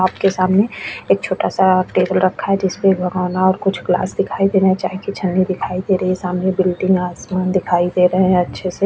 आपके सामने एक छोटा सा टेबल रखा है जिसमें भगौना और कुछ क्लास दिखाई दे रहे हैं चाय की छननी दिखाई दे रही है सामने बिल्डिंग आसमान दिखाई दे रहे हैं अच्छे से --